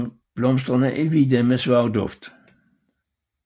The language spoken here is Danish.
Blomsterne er hvide med svag duft